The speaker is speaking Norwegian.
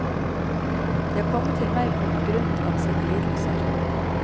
De har kommet til meg på grunn av sine lidelser.